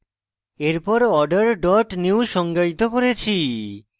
এরপর order dot new সংজ্ঞায়িত করেছি